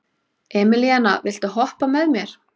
Emelíana, viltu hoppa með mér?